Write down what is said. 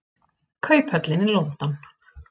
Kauphöllin í London.